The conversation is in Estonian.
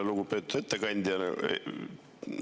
Lugupeetud ettekandja!